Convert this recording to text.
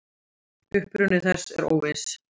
Uppruni þess er óviss.